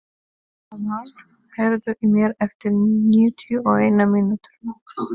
Amal, heyrðu í mér eftir níutíu og eina mínútur.